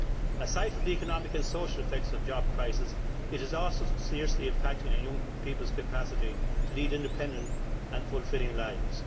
Aside from the economic and social effects of the job crisis, it is also seriously impacting on young people's capacity to lead independent and fulfilling lives.